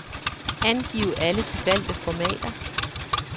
Angiv alle de valgte formater.